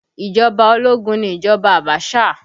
Ìjọba ológun ni ìjọba Abaṣa